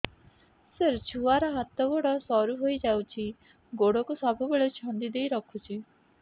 ସାର ଛୁଆର ହାତ ଗୋଡ ସରୁ ହେଇ ଯାଉଛି ଗୋଡ କୁ ସବୁବେଳେ ଛନ୍ଦିଦେଇ ରଖୁଛି